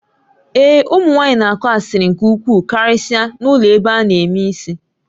Ee, ụmụ nwaanyị na-akụ asịrị nke ukwuu karịsịa na ụlọ ebe a na-eme isi